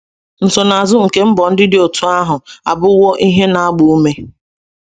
Nsonaazụ nke mbọ ndị dị otú ahụ abụwo ihe na-agba ume.